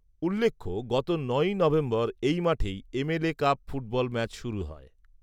উল্লেখ্য, গত ঌই নভেম্বর এই মাঠেই M, L, A cup football match শুরু হয়